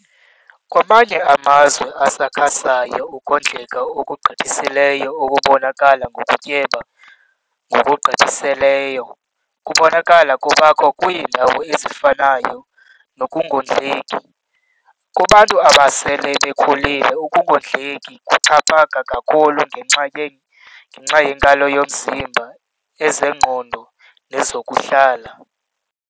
Kwamanye amazwe asakhasayo ukondleka okugqithiseleyo okubonakala ngokutyeba ngokugqithiseleyo kubonakala kubakho kwiindawo ezifanayo nokungondleki. Kubantu abasele bekhulile ukungondleki kuxhaphaka kakhulu ngenxa yenkalo zomzimba, ezengqondo nezokuhlala.